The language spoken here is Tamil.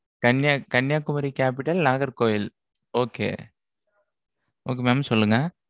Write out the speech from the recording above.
கன்னியாகுமரி capital நாகர்கோவில். okay okay mam சொல்லுங்க.